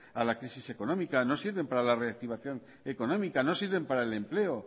a la crisis económica no sirven para la reactivación económica no sirven para el empleo